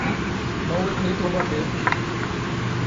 новый клип лободы